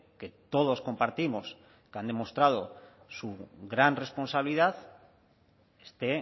que todos compartimos que han demostrado su gran responsabilidad esté